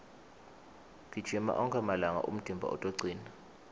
gijima onkhe malanga umtimba utocina